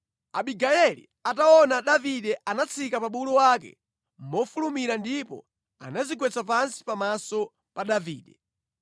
Abigayeli ataona Davide, anatsika pa bulu wake mofulumira ndipo anadzigwetsa pansi pamaso pa Davide.